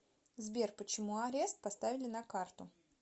сбер почему арест поставили на карту